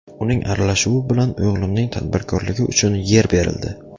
Uning aralashuvi bilan o‘g‘limning tadbirkorligi uchun yer berildi.